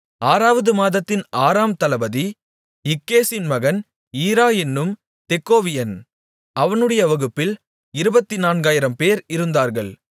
ஆறாவது மாதத்தின் ஆறாம் தளபதி இக்கேசின் மகன் ஈரா என்னும் தெக்கோவியன் அவனுடைய வகுப்பில் இருபத்துநான்காயிரம்பேர் இருந்தார்கள்